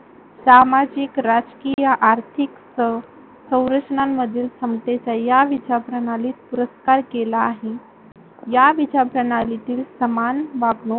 सामाजिक, राजकीय, आर्थिक सह सौरचनामधील समतेचा या विचार प्रणालीत पुरस्कार केला आहे. या विचर प्रणालीतील समान वागणूक